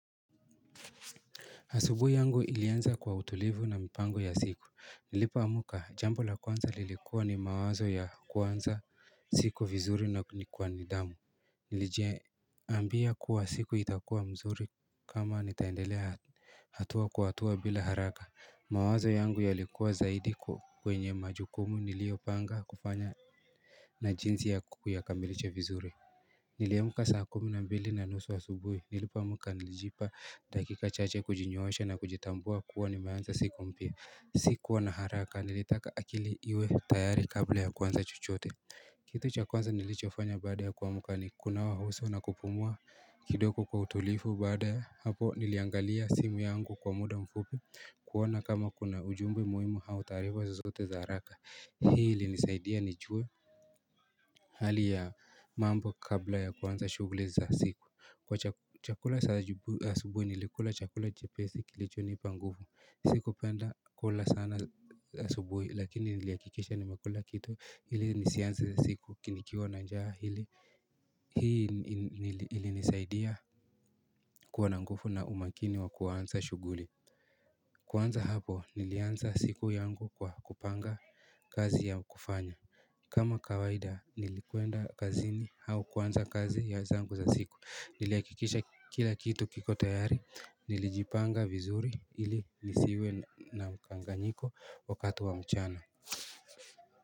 Asubuhi yangu ilianza kwa utulivu na mpango ya siku. Nilipo amka, jambo la kwanza lilikuwa ni mawazo ya kuanza siku vizuri na kulikua nidamu. Niliji ambia kuwa siku itakua mzuri kama nitaendelea hatua kwa hatua bila haraka. Mawazo yangu yalikuwa zaidi kwenye majukumu niliopanga kufanya na jinsi ya kuyakamilisha vizuri. Niliamka saa kumi na mbili na nusu asubuhi. Nilipoamka, nilijipa dakika chache kujinyoosha na kujitambua kuwa nimeanza siku mpya. Sikua na haraka nilitaka akili iwe tayari kabla ya kuanza chochote. Kitu cha kwanza nilichofanya baada ya kuamka ni kunawa uso na kupumua kidogo kwa utulifu baada ya hapo niliangalia simu yangu kwa muda mfupi kuona kama kuna ujumbe muhimu au taarifa zozote za haraka, hii ilinisaidia nijue Hali ya mambo kabla ya kuanza shuguli za siku Kwa chakula asubuhi nilikula chakula chepesi kilichonipa nguvu Sikupenda kula sana asubuhi lakini nilihakikisha nimekula kitu ili nisianze siku nikiwa na njaa Hii ilinilisaidia kuwa na nguvu na umakini wa kuanza shughuli kuanza hapo nilianza siku yangu kwa kupanga kazi ya kufanya kama kawaida nilikwenda kazini au kuanza kazi zangu za siku nilihakikisha kila kitu kiko tayari nilijipanga vizuri ili nisiwe na mkanganyiko wakati wa mchana.